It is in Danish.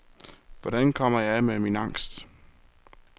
Hvordan kommer jeg af med min angst?